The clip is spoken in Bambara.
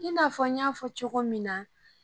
I n'a fɔ n y'a fɔ cogo min na.